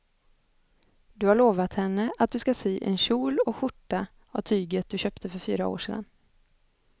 Du har lovat henne att du ska sy en kjol och skjorta av tyget du köpte för fyra år sedan.